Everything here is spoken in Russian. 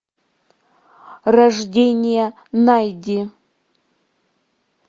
рождение найди